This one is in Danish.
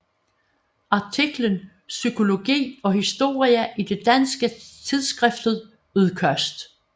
Artiklen Psykologi og historie i det danske tidsskrift Udkast